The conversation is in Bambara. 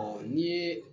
Ɔ n'i ye